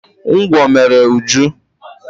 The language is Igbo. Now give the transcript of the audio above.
Ngwọ mere Uju.